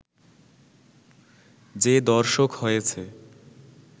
যে দর্শক হয়েছে